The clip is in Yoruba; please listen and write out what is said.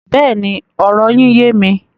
Bẹ́ẹ̀ni, ọ̀rọ̀ yín yẹ̀ mí.